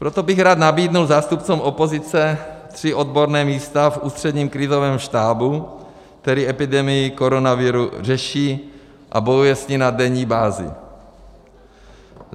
Proto bych rád nabídl zástupcům opozice tři odborná místa v Ústředním krizovém štábu, který epidemii koronaviru řeší a bojuje s ní na denní bázi.